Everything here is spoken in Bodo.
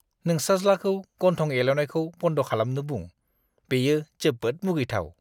नोंसाज्लाखौ गन्थं एल'नायखौ बन्द खालामनो बुं। बेयो जोबोद मुगैथाव!